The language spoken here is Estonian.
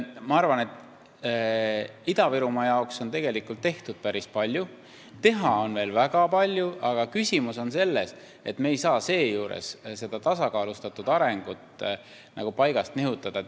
Ma arvan, et Ida-Virumaa jaoks on tegelikult tehtud päris palju, teha on ka veel väga palju, aga küsimus on selles, et me ei saa seejuures tasakaalustatud arengut paigast nihutada.